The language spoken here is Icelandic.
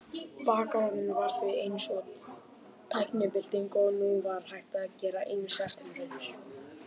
Bakarofninn var því eins og tæknibylting og nú var hægt að gera ýmsar tilraunir.